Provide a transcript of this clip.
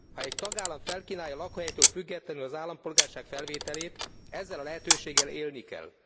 Ha egy tagállam felkínálja lakóhelytől függetlenül az állampolgárság felvételét, ezzel a lehetőséggel élni kell.